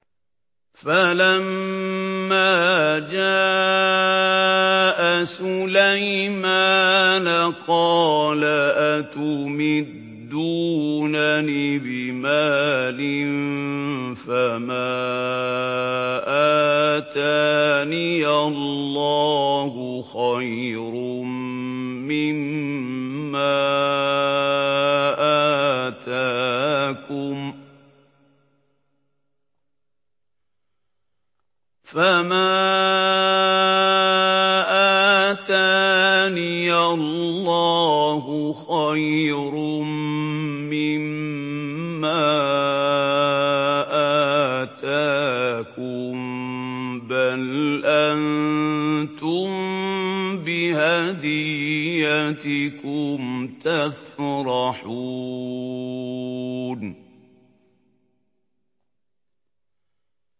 فَلَمَّا جَاءَ سُلَيْمَانَ قَالَ أَتُمِدُّونَنِ بِمَالٍ فَمَا آتَانِيَ اللَّهُ خَيْرٌ مِّمَّا آتَاكُم بَلْ أَنتُم بِهَدِيَّتِكُمْ تَفْرَحُونَ